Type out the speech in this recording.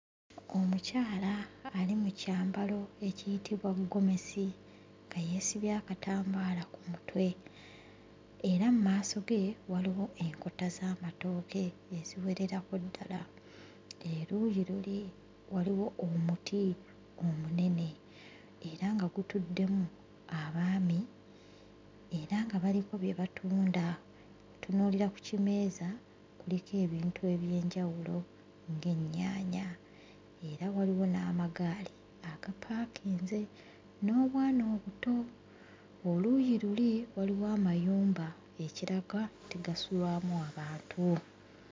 Omukyala ali mu kyambalo ekiyitibwa ggomesi nga yeesibye akatambaala ku mutwe era mu maaso ge waliwo enkota z'amatooke eziwererako ddala, eruuyi luli waliwo omuti omunene era nga gutuddemu abaami era nga baliko bye batunda. Ntunuulira ku kimeeza kuliko ebintu eby'enjawulo ng'ennyaanya era waliwo n'amagaali agapaakinze n'obwana obuto. Oluuyi luli waliwo amayumba, ekiraga nti gasulwamu abantu.